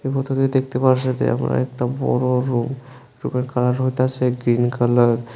দেখতে পাওয়া আমরা একটা বড় রুম রুমের কালার হইতাছে গ্রীন কালার ।